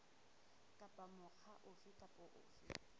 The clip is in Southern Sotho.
kapa mokga ofe kapa ofe